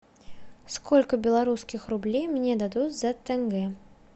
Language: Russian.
сколько белорусских рублей мне дадут за тенге